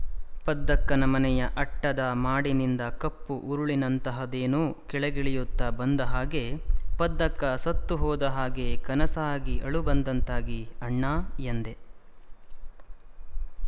ಪದ್ದಕ್ಕನ ಮನೆಯ ಅಟ್ಟದ ಮಾಡಿನಿಂದ ಕಪ್ಪು ಉರುಳಿನಂತಹದೇನೋ ಕೆಳಗಿಳಿಯುತ್ತ ಬಂದ ಹಾಗೆ ಪದ್ದಕ್ಕ ಸತ್ತುಹೋದ ಹಾಗೆ ಕನಸಾಗಿ ಅಳು ಬಂದಂತಾಗಿ ಅಣ್ಣಾ ಎಂದೆ